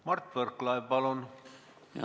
Mart Võrklaev, palun!